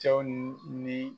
Cɛw ni.